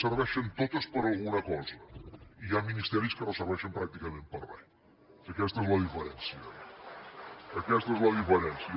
serveixen totes per a alguna cosa i hi ha ministeris que no serveixen pràcticament per a res aquesta és la diferència aquesta és la diferència